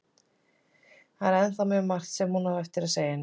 Það er ennþá mjög margt sem hún á eftir að segja henni.